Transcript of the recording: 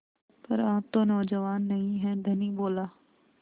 पर आप तो नौजवान नहीं हैं धनी बोला